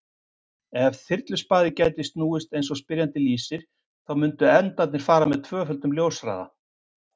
Ef þyrluspaði gæti snúist eins og spyrjandi lýsir þá mundu endarnir fara með tvöföldum ljóshraða.